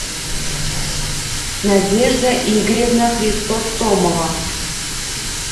надежда игоревна христостомова